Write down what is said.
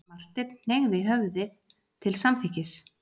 Marteinn hneigði höfðið til samþykkis.